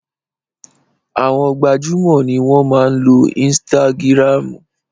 Àwọn gbajúmò ni wọ́n máa ń lo ínsítágírámù